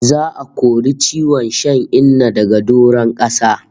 Za'a kori ciwon shan Inna daga doron kasa